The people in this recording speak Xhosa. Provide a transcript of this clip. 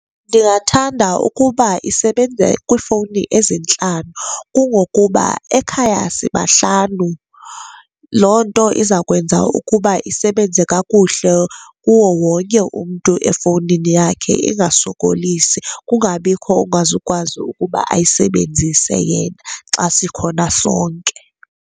Ndingathanda ukuba isebenze kwiifowuni ezintlanu. Kungokuba ekhaya sibahlanu, loo nto iza kwenza ukuba isebenze kakuhle kuwo wonke umntu efowunini yakhe, ingasokolisi. Kungabikho ongazukwazi ukuba ayisebenzise yena xa sikhona sonke.